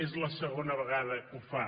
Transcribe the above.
és la segona vegada que ho fa